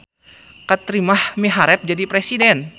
Kartimah miharep jadi presiden